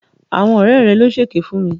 Àwọn ọ̀rẹ́ rẹ̀ ló ṣe èké fún mi.